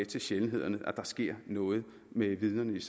til sjældenhederne at der sker noget med vidnerne